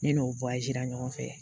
Ne n'o ɲɔgɔn fɛ